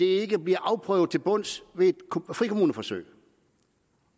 ikke bliver afprøvet til bunds ved et frikommuneforsøg